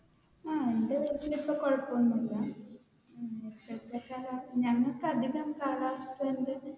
ആഹ് ഇവിടെ കുഴപ്പമൊന്നുമില്ല ഞങ്ങൾക്ക് അധികം